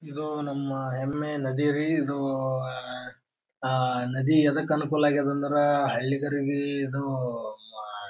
ಇದು ನಮ್ಮ ಹೆಮ್ಮೆಯ ನದಿ ರೀ ಇದು ಅಹ್ ಅಹ್ ನದಿ ಯದಕ್ ಅನುಕೂಲ ಅಗ್ಯದ ಅಂದ್ರ ಹಳ್ಳಿಗರಿಗೆ ಇದು ಮಾ--